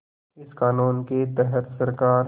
इस क़ानून के तहत सरकार